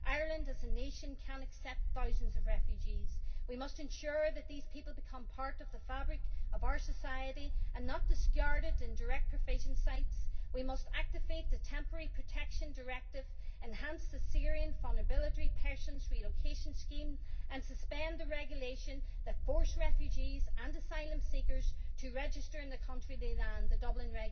Ireland, as a nation, can accept thousands of refugees. We must ensure that these people become part of the fabric of our society and are not discarded in direct provision sites. We must activate the Temporary Protection Directive, enhance the Syria Vulnerable Persons Relocation Scheme, and suspend the Dublin Regulation, which forces refugees and asylum seekers to register in the country they land